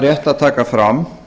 rétt að taka fram